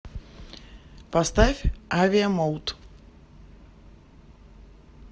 поставь авиа мод